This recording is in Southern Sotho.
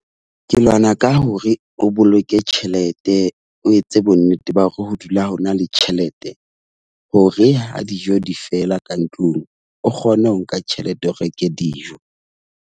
Ke lwana ka hore o boloke tjhelete, o etse bonnete ba hore ho dula ho na le tjhelete hore ha dijo di fela ka ntlong, o kgone ho nka tjhelete, o reke dijo.